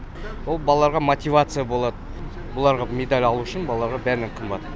ол балаларға мотивация болады оларға медаль алу үшін балаларға бәрінен қымбат